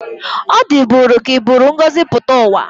O diburi ka iburu ngozi puta uwa.